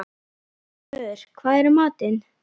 Ormur, hvað er í matinn?